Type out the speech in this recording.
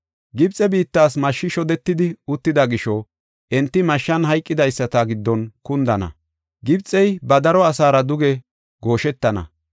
Gibxe biittas mashshi shodetidi uttida gisho, enti mashshan hayqidaysata giddon kundana; Gibxey ba daro asaara duge gooshetana.